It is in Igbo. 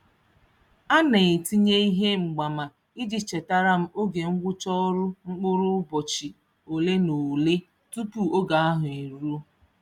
Ana etinye ihe mgbaama iji chetara m oge ngwụcha ọrụ mkpụrụ ụbọchị ole na ole tupu oge ahụ eruo.